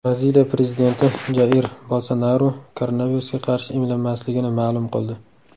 Braziliya prezidenti Jair Bolsonaru koronavirusga qarshi emlanmasligini ma’lum qildi.